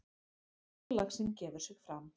Stórlaxinn gefur sig fram.